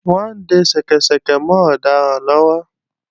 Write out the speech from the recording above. Wọ́n ń de ṣẹ́kẹ́ṣẹkẹ̀ mọ́ ọ̀daràn náà lọ́wọ́